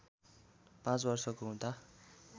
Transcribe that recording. पाँच वर्षको हुँदा